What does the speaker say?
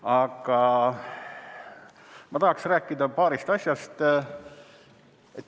Aga ma tahaksin rääkida paarist asjast.